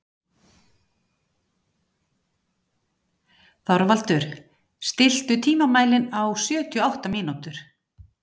Þorvaldur, stilltu tímamælinn á sjötíu og átta mínútur.